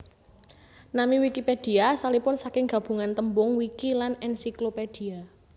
Nami Wikipédia asalipun saking gabungan tembung wiki lan encyclopedia